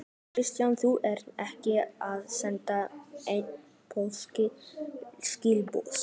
Kristján: Þú ert ekki að senda nein pólitísk skilaboð?